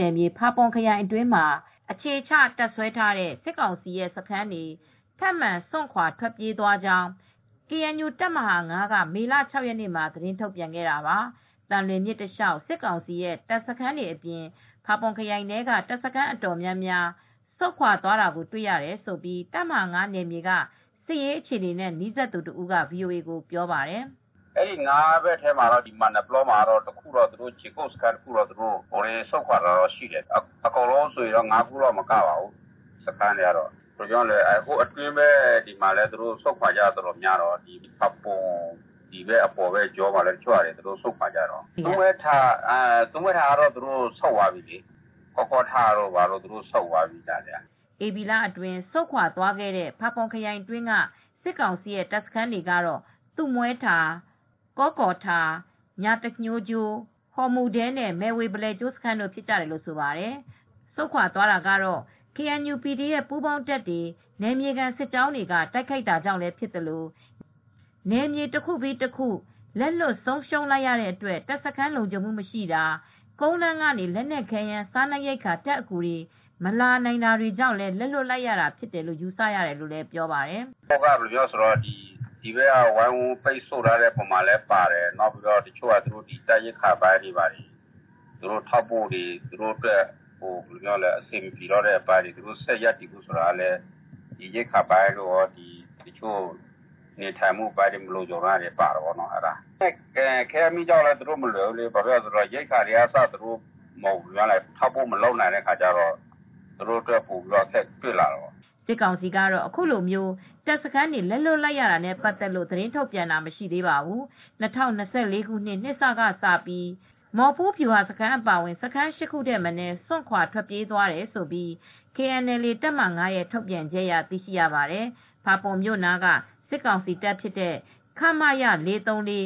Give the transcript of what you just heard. နယ်မြေ ဖာပွန်ခရိုင် အတွင်းမှာ အခြေချ တပ်စွဲထားတဲ့ စစ်ကောင်စီရဲ့စခန်းတွေ ထပ်မံစွန့်ခွာထွက်ပြေးသွားကြောင်း KNU တပ်မဟာ ၅ က မေ ၆ ရက်နေ့မှာထုတ်ပြန်ခဲ့တာပါ။ သံလွင်မြစ်တလျှောက်စစ်ကောင်စီရဲ့ တပ်စခန်းတွေအပြင် ဖာပွန်ခရိုင်ထဲက တပ်စခန်းအတော်များများဆုတ်ခွါသွားတာကိုတွေ့ရတယ်လို့ တပ်မဟာ နယ်မြေကစစ်ရေးအခြေအနေတွေနဲ့နီးစပ်သူတဦးက VOA ကိုပြောပါတယ်။ "တပ်မဟာ ဘက်ထဲမှာတော့ မာနယ်ပလောဘက်က ခြေကုတ်စခန်းတခုစွန့်ခွါတယ် ၅ခုတောင်မကတော့ဘူး ဟိုဘက်အတွင်းဘက်မှာလည်း စကစကဆုတ်ခွါတာအတော်များတယ် ၊သူးမွဲထာ၊ ကောကော်ထာ၊တို့လည်းဆုတ်ခွါသွားပြီ ၈ခုထက်မနည်းတော့ဘူး အဲဒီလောက်ရှိပြီ" ဧပြီလအတွင်းဆုတ်ခွါခဲ့တဲ့ ဖာပွန်ခရိုင်အတွင်းက စစ်ကောင်စီရဲ့တပ်စခန်းတွေကတော့ သူးမွဲထာ၊ ကောကော်ထာ၊ ညာတဃိုကျိုး၊ ဟော်မုဒဲနဲ့ မယ်ဝေ ဘလယ်ကျိုးစခန်းတို့ဖြစ်ကြတယ်လို့ဆိုပါတယ်။ ဆုတ်ခွါသွားတာဟာ KNLA/PDF ပူးပေါင်းတပ်တွေ နယ်မြေခံ စစ်ကြောင်းတွေက တိုက်ခိုက်တာကြောင့်လည်း ဖြစ်သလို နယ်မြေတခုပြီးတခုလက်လွှတ်ဆုံးရှုံးလိုက်ရတဲ့အတွက် တပ်စခန်းလုံခြုံမှုမရှိတာ ကုန်းလမ်းကနေ လက်နက်ခဲယမ်းစားနပ်ရိက္ခာ တပ်အကူတွေမလာနိုင်တာကြောင့်လည်းလက်လွှတ်လိုက်ရတာလို့ယူဆရတယ်လို့လည်းပြောပါတယ်။ "ဒီဘက် ကနေ ဝိုင်းဝန်းပိတ်ဆို့တာလည်းပါတယ်၊ နောက်ပြီးတော့တပ်ရိက္ခာပိုင်းထောက်ပို့ပိုင်းက အဆင်မပြေတော့တာလည်းပါတယ်၊ ဆက်ရပ်တည်ဖို့ဆိုတာကလည်း ရိက္ခာပိုင်းတို့ ခဲယမ်းမီးကျောက်လိုအပ်တဲ့အပိုင်းလည်းပါတယ်၊ သူတို့ ဆက်ရပ်တည်ဖို့မလွယ်တော့တာပါတယ်၊ ဒီအတွက်သူတို့က အခက်အခဲတွေ့လာတာပေါ့" စစ်ကောင်စီကတော့ အခုလိုတပ်စခန်းတွေလက်လွှတ်လိုက်ရတာနဲ့ပတ်သက်လို့သတင်းထုတ်ပြန်တာမရှိသေးပါဘူး။ ၂၀၂၄ ခုနှစ် နှစ်စကစပြီး မော်ဖူးဗျူဟာစခန်းအပါအဝင် စခန်း ၈ ခုထက်မနည်း စွန့်ခွာထွက်ပြေးသွားတယ်လို့ KNLA တပ်မဟာ ၅ ရဲ့ ထုတ်ပြန်ချက်အရသိရှိရပါတယ်။ ဖာပွန်မြို့နားကစစ်ကောင်စီတပ် ခမရ ၄၃၄၊